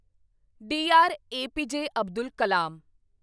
D R. A P J. Abdul Kalam